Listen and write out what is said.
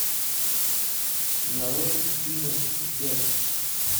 нарой финес и ферб